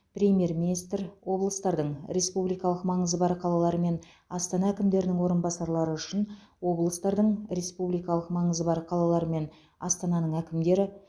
премьер министр облыстардың республикалық маңызы бар қалалар мен астана әкімдерінің орынбасарлары үшін облыстардың республикалық маңызы бар қалалар мен астананың әкімдері